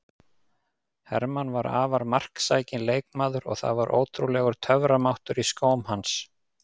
Hermann var afar marksækinn leikmaður og það var ótrúlegur töframáttur í skóm hans.